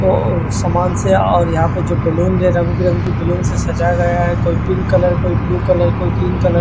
औ सामान से और यहा पे जो बैलून है जो रंग बिरंगे बैलून से सजाया गया है कोई पिंक कलर कोई ब्लू कलर कोई ग्रीन कलर --